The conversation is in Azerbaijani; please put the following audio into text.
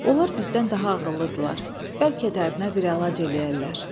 Onlar bizdən daha ağıllıdırlar, bəlkə dərdinə bir əlac eləyərlər.